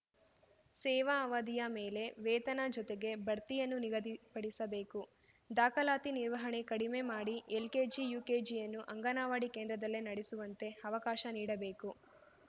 ಸೇವಾ ಅವಧಿಯ ಮೇಲೆ ವೇತನ ಜೊತೆಗೆ ಬಡ್ತಿಯನ್ನು ನಿಗದಿಪಡಿಸಬೇಕು ದಾಖಲಾತಿ ನಿರ್ವಹಣೆ ಕಡಿಮೆ ಮಾಡಿ ಎಲ್‌ಕೆಜಿ ಯುಕೆಜಿಯನ್ನು ಅಂಗನವಾಡಿ ಕೇಂದ್ರದಲ್ಲೇ ನಡೆಸುವಂತೆ ಅವಕಾಶ ನೀಡಬೇಕು